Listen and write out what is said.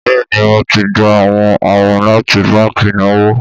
Bẹ́ẹ̀ni Mo ti gba awọn awin lati banki ìnáwó